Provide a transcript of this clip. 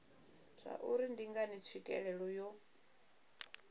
zwauri ndi ngani tswikelelo yo